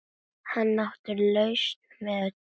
Hann átti lausn við öllu.